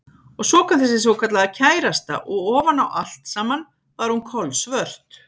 Og svo kom þessi svokallaða kærasta og ofan á allt saman var hún kolsvört.